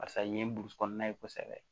Barisa nin ye burusi kɔnɔna ye kosɛbɛ